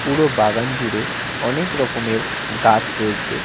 পুরো বাগান জুড়ে অনেক রকমের গাছ রয়েছে।